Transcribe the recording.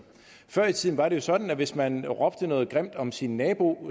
før i tiden var jo sådan at hvis man råbte noget grimt om sin nabo